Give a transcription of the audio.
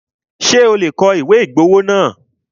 Ṣé o lè kọ ìwé ìgbowó náà?